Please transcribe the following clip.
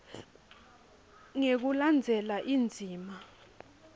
ngekulandzela indzima b